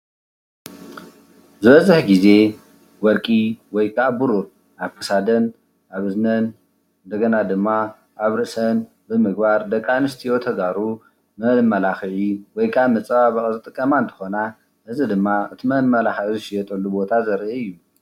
ዝበዝሕ ግዜ ወርቂ ወይ ከኣ ብሩር ኣብ ክሳደን ኣብ እዝነን እንደገና ድማ ኣብ ርእሰን ብምግባረ ደቂ ኣንስትዮ ተጋሩ መማላክዒ ወይ ከዓ መፀባበቂ ዝጥቀማ እንትኮና እዚ ድማ አቲ መማላክዒ ዝሽየጠሉ ቦታ ዘርኢ እዩ፡፡